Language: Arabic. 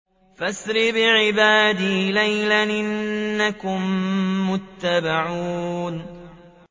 فَأَسْرِ بِعِبَادِي لَيْلًا إِنَّكُم مُّتَّبَعُونَ